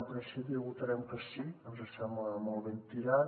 en principi hi votarem que sí ens sembla molt ben tirat